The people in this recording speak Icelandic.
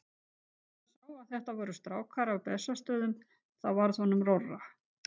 En þegar hann sá að þetta voru strákar af Bessastöðum þá varð honum rórra.